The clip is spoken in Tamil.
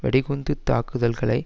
வெடிகுண்டு தாக்குதல்களை